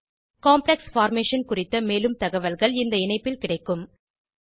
complex formation குறித்த மேலும் தகவல்கள் இந்த இணைப்பில் கிடைக்கும் httpenwikipediaorgwikiSpin states d electrons